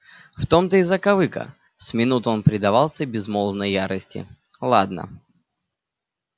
в том-то и закавыка с минуту он предавался безмолвной ярости ладно